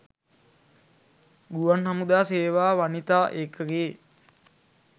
ගුවන් හමුදා සේවා වනිතා ඒකකයේ